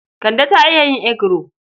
Kande ta iya yin eguro.